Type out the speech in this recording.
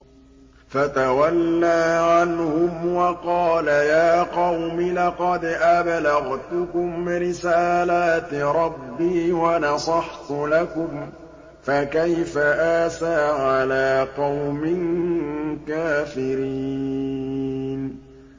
فَتَوَلَّىٰ عَنْهُمْ وَقَالَ يَا قَوْمِ لَقَدْ أَبْلَغْتُكُمْ رِسَالَاتِ رَبِّي وَنَصَحْتُ لَكُمْ ۖ فَكَيْفَ آسَىٰ عَلَىٰ قَوْمٍ كَافِرِينَ